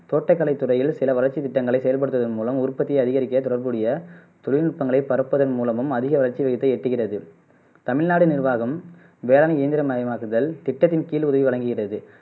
தோட்டக்கலை துறையில் சில வளர்ச்சி திட்டங்களை செயல்படுத்துவதன் மூலம் உற்பத்தியை அதிகரிக்க தொடர்புடைய தொழில்நுட்பங்களை பரப்புவதன் மூலமும் அதிக வளர்ச்சி விகிதத்தை எட்டுகிறது தமிழ்நாடு நிர்வாகம் வேளாண் இயந்திர மயமாக்குதல் திட்டத்தின் கீழ் உதவி வழங்குகிறது